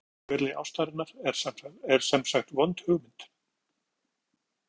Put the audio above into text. Að verða eftir á vígvelli ástarinnar er semsagt vond hugmynd.